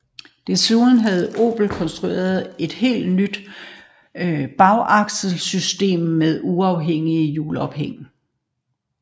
Desuden havde Opel konstrueret et helt nyt bagaksel system med uafhængig hjulophæng